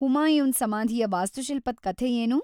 ಹುಮಾಯೂನ್ ಸಮಾಧಿಯ ವಾಸ್ತುಶಿಲ್ಪದ್‌ ಕಥೆ ಏನು?